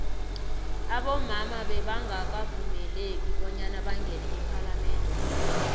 abomama bebangaka vumeleki bonyana bangene ephalamende